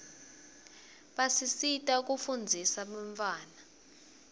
basisita kufundzisa bantawana